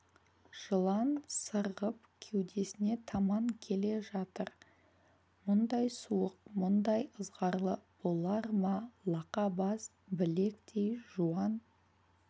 жылан сырғып кеудесіне таман келе жатыр мұндай суық мұндай ызғарлы болар ма лақа бас білектей жуан